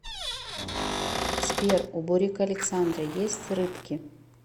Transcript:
сбер у бурико александры есть рыбки